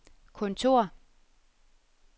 kontor